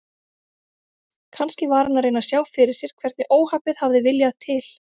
Kannski var hann að reyna að sjá fyrir sér hvernig óhappið hafði viljað til.